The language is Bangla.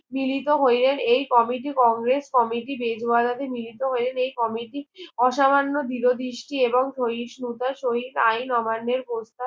মিলিত হইয়ে এই কমেটি কংগ্রেস কমেটি বেদারাতে মিলিত হইয়ে এই কমেটি অসামান্য দৃঢ় দৃষ্টি এবং সহিষ্ণুতার শহীদ আইন অমান্যের কথা